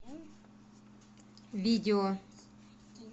видео